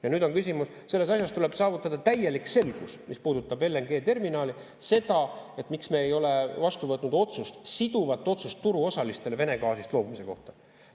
Ja nüüd on küsimus, selles asjas tuleb saavutada täielik selgus, mis puudutab LNG-terminali, seda, miks me ei ole vastu võtnud otsust, siduvat otsust turuosalistele Vene gaasist loobumise kohta.